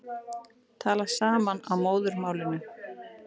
Tala saman á móðurmálinu